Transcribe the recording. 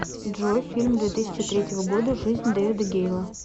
джой фильм две тысячи третьего года жизнь дэвида гейла